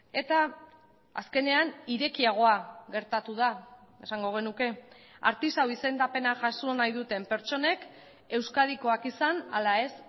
eta azkenean irekiagoa gertatu da esango genuke artisau izendapena jaso nahi duten pertsonek euskadikoak izan ala ez